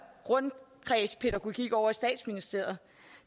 rundkredspædagogik ovre i statsministeriet